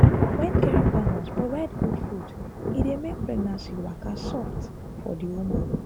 wen caring partners provide good food e dey make pregnancy waka soft for the woman.